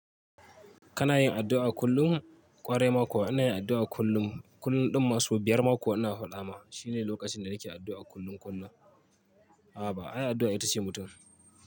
Kana yin addu'a kullum kwarai mako ana yin addu'a kullum, kullum ɗin masu biyar ma kuwa inaa faɗa ma shine lokacin da nake addu'a kullum kullum. Hana, ai addu'a ita ce mutum.